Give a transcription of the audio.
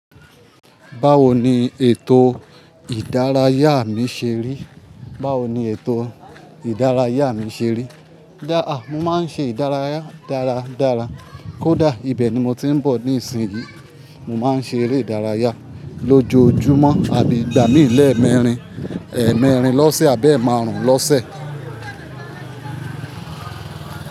Báwo ni ètò ìdárayá mi ṣe rí? Báwo ni ètò ìdárayá mi ṣe rí? Mo máa ń ṣe ìdárayá dára dára. Kódà ibẹ̀ ni mo ti ń bọ̀ ní ìsìn yìí. Mo máa ń ṣe eré ìdárayá lójoojúmọ́, igbà mí lé mẹ̀ẹ́ẹ̀mẹrin, ẹ̀ẹ́ẹ̀mẹrin lọ́sẹ̀ àbi ẹ̀ẹ̀màrún lọ́sẹ̀